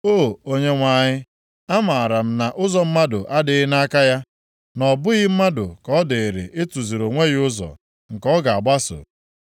O Onyenwe anyị, amaara m na ụzọ mmadụ adịghị nʼaka ya, na ọ bụghị mmadụ ka ọ dịịrị ịtụziri onwe ya ụzọ nke ọ ga-agbaso.